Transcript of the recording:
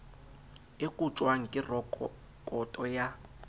e kotjwang ke rekoto ya